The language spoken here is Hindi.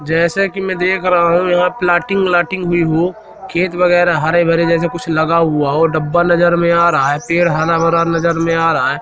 जैसे कि मैं देख रहा हूं यहां प्लाटिंग व्लाटिंग हुई हो खेत वगैरा हरे भरे जैसे कुछ लगा हुआ हो डाबा नजर में आ रहा है पेड़ हरा भरा नजर में आ रहा है।